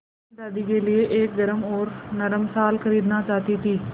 मैं दादी के लिए एक गरम और नरम शाल खरीदना चाहती थी